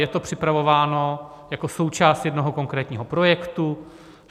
Je to připravováno jako součást jednoho konkrétního projektu.